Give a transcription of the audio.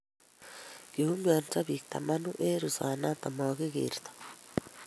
kiumianso biik tamanu eng ruset noto magigertoi